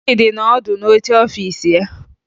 Chịdị nọ ọdụ n'oche ọfiisi ya